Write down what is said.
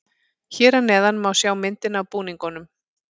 Hér að neðan má sjá myndina af búningunum.